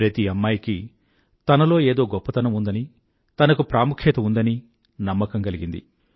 ప్రతి అమ్మాయికీ తనలో ఏదో గొప్పతనం ఉందనీ తనకు ప్రాముఖ్యత ఉందనీ నమ్మకం కలిగింది